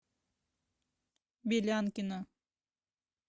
белянкина